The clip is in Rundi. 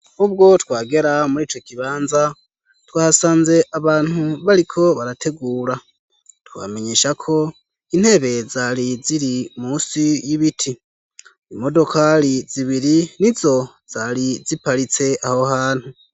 Nkubwo twagera muri co kibanza twasanze abantu bariko barategura twamenyesha ko intebe zari ziri munsi y'ibiti imodokali zibiri nizo zari ziparitse aho hantu.